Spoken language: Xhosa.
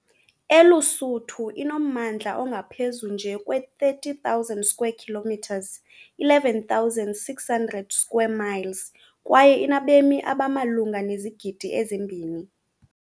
ELuSuthu inommandla ongaphezu nje kwe-30,000 km2, 11,600 square miles kwaye inabemi abamalunga nezigidi ezi-2.